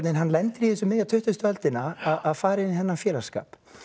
hann lendir í þessu miðja tuttugustu öldina að fara inn í þennan félagsskap